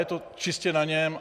Je to čistě na něm.